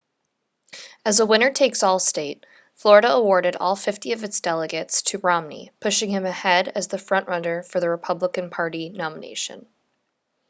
as a winner-takes-all state florida awarded all fifty of its delegates to romney pushing him ahead as the front-runner for the republican party nomination